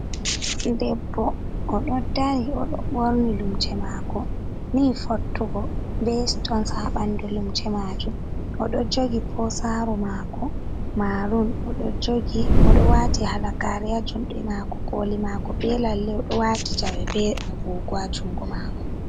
Debbo oɗo dari oɗo borni lumse mako ni fottugo be sitons ha ɓandu lumse majum odo jogi posaru mako marum odo wati halagare ha juɗe mako koli mako be lalle oɗo wati jawe be agogo ha jungo mako.